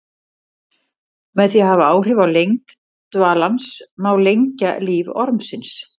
Með því að hafa áhrif á lengd dvalans má lengja líf ormsins.